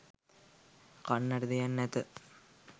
කන්නට දෙයක් නැත